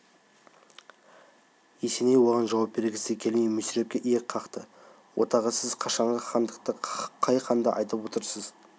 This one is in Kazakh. есеней оған жауап бергісі келмей мүсірепке иек қақты отағасы сіз қашанғы хандықты қай ханды айтып отырсыз